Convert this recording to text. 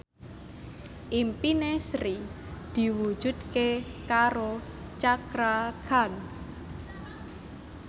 impine Sri diwujudke karo Cakra Khan